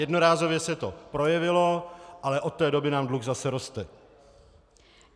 Jednorázově se to projevilo, ale od té doby nám dluh zase roste.